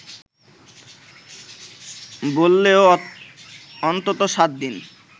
বললেও অন্তত সাত দিন